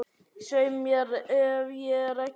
Svei mér ef ég er ekki búinn að gleyma því